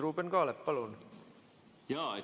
Ruuben Kaalep, palun!